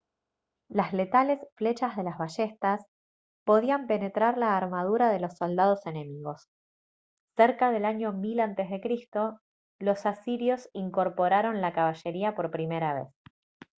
las letales flechas de las ballestas podían penetrar la armadura de los soldados enemigos cerca del año 1000 a c los asirios incorporaron la caballería por primera vez